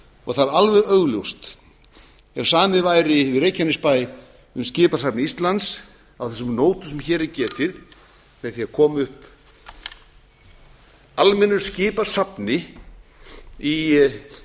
og það er alveg augljóst að ef samið væri við reykjanes bæ um skipasafn íslands á þessum nótum sem hér er getið með því að koma upp almennu skipasafni í